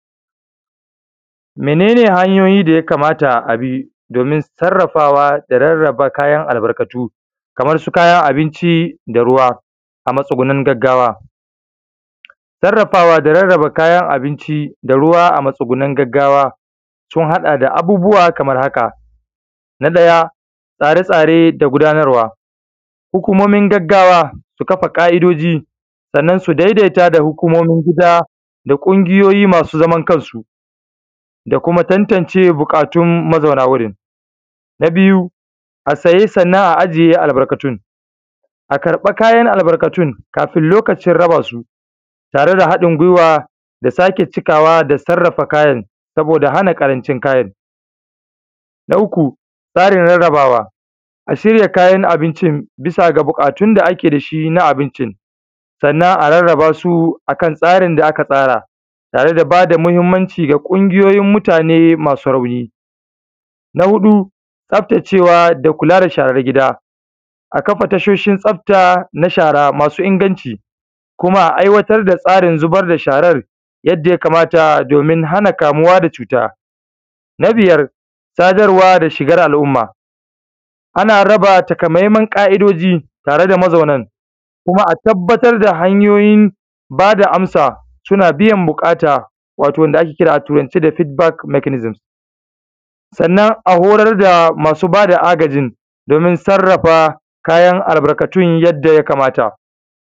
Mene ne hanyoyi daya kamata abi? Domin sarrafawa da rarraba kayan albarkatu? Kaman su kayan abinci, da ruwa a matsugunin gaggawa. Sarrafa da rarraba kayan abinci da ruwa a matsugunin gaggawa sun hada da abubuwa kamar haka: Na ɗaya tsatsare da gudanarwa, hukumomin gaggawa su kafa ƙa’idoji sannan su daidaita da hukumomin gida da ƙungiyoyi masu zaman kansu da kuma tantance buƙatun mazauna wurin. Na biyu a sayi a sayi sannan a ajiye albarkatun, a karɓa kayan albarkatun kafin lokacin rabasu tare da haɗin gwiwa sake cikawa da sarrafa kayan, saboda hana ƙarancin kayan. Na uku tsarin rarrabawa, a shirya kayan abinci bisa ga buƙatun da ake dashi na abincin, sannan a rarrabasu akan tsarin da aka tsara tare da bada mahimmanci ga ƙungiyoyin mutane masu rauni. Na huɗu tsaftacewa da kula da sharan gida, a kafa tashoshin tsafta na shara masu inganci, kuma a aiwatar da tsarin zubar da sharar yadda ya kamata, domin hana kamuwa da cuta. Na biyar sadarwa da shigar al’umma, ana raba takamaiman ƙa’idoji tare da mazaunan kuma a tabbatar da hanyoyin bada amsa suna biyan buƙata, wato wanda ake kira a turance da ( feedback mechanism). Sannan a horar da masu bada agajin domin sarrafa kayan albarkatun yadda ya kamata.